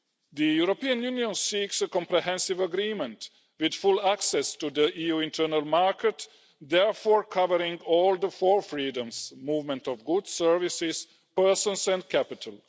The European Union seeks a comprehensive agreement with full access to the EU internal market, therefore covering all the four freedoms movement of goods, services, persons and capital.